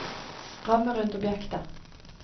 ramme rundt objektet